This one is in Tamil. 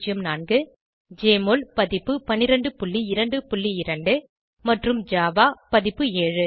1204 ஜெஎம்ஒஎல் பதிப்பு 1222 மற்றும் ஜாவா பதிப்பு 7